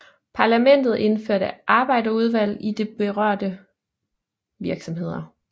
Parlamentet indførte arbejderudvalg i de berørte virksomheder